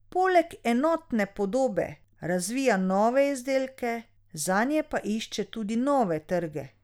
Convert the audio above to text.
Poleg enotne podobe razvija nove izdelke, zanje pa išče tudi nove trge.